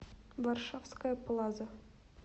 варшавская плаза